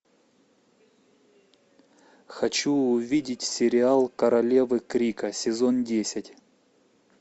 хочу увидеть сериал королевы крика сезон десять